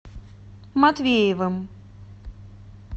матвеевым